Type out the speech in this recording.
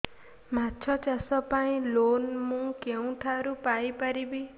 ମାଛ ଚାଷ ପାଇଁ ଲୋନ୍ ମୁଁ କେଉଁଠାରୁ ପାଇପାରିବି